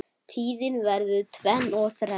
Tíðin verður tvenn og þrenn.